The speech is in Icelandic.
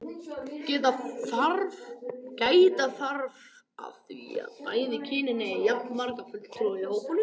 Gæta þarf að því að bæði kynin eigi jafnmarga fulltrúa í hópnum.